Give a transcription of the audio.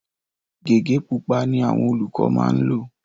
Gẹ̀gẹ́ pupa ni àwọn olùkọ maá ńlò